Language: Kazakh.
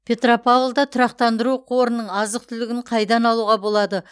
петропавлда тұрақтандыру қорының азық түлігін қайдан алуға болады